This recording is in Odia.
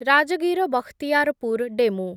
ରାଜଗୀର ବଖତିୟାରପୁର ଡେମୁ